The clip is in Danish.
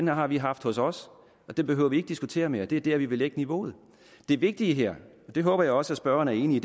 har vi haft hos os og det behøver vi ikke diskutere mere det er der vi vil lægge niveauet det vigtige her og det håber jeg også at spørgeren er enig i